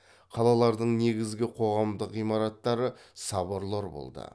қалалардың негізгі қоғамдық ғимараттары соборлар болды